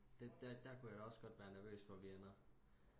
det der der kunne jeg da også godt være nervøs for vi ender